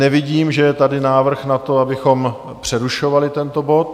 Nevidím, že je tady návrh na to, abychom přerušovali tento bod.